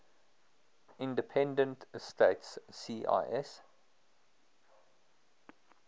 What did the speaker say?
independent states cis